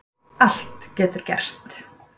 Allt getur gerst